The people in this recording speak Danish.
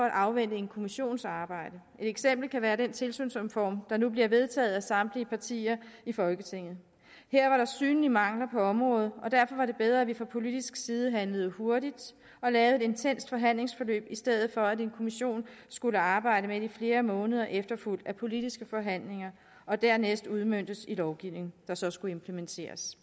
at afvente en kommissions arbejde et eksempel kan være den tilsynsreform der nu bliver vedtaget af samtlige partier i folketinget her var der synlige mangler på området og derfor var det bedre at vi fra politisk side handlede hurtigt og lavede et intenst forhandlingsforløb i stedet for at en kommission skulle arbejde med det i flere måneder efterfulgt af politiske forhandlinger og dernæst udmøntet i lovgivning der så skulle implementeres